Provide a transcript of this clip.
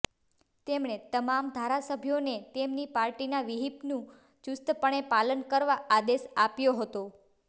તેમણે તમામ ધારાસભ્યોને તેમની પાર્ટીનાં વ્હીપનું ચુસ્તપણે પાલન કરવા આદેશ આપ્યો હતો